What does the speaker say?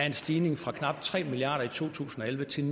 en stigning fra knap tre milliard kroner i to tusind og elleve til